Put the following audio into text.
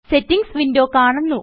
settings window കാണുന്നു